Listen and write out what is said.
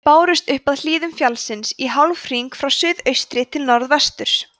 þau bárust upp af hlíðum fjallsins í hálfhring frá suðaustri til norðvesturs